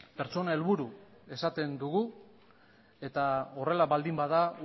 pertsona helburu esaten dugu eta horrela baldin bada